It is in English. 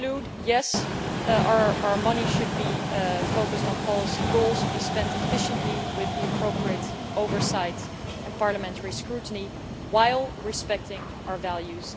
To conclude yes, our money should be focused on policy goals, and should be spent efficiently with the appropriate oversight and parliamentary scrutiny, while respecting our values.